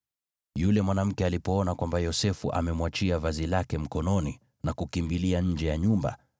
Yule mwanamke alipoona kwamba Yosefu amemwachia vazi lake mkononi na kukimbilia nje ya nyumba,